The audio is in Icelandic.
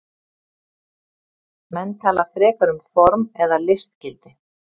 Menn tala frekar um form eða listgildi.